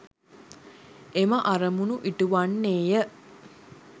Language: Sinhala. එම අරමුණු ඉටු වන්නේ ය.